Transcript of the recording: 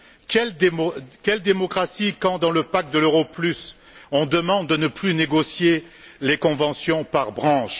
Quelle démocratie quand, dans le pacte euro plus, on demande de ne plus négocier les conventions par branche?